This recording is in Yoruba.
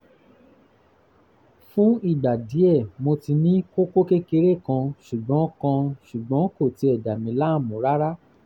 fún ìgbà díẹ̀ mo ti ní kókó kékeré kan ṣùgbọ́n kan ṣùgbọ́n kò tiẹ̀ dà mí láàmú rárá